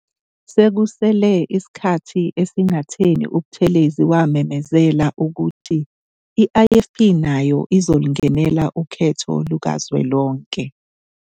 Sekusele isikhathi esingatheni uButhulezi wamemezela ukuthi i-IFP nayo izolungenela ukhetho lukazwelonke